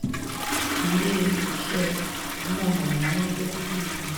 ile-iṣẹ iná mọ̀nàmọ́ná gerugu ii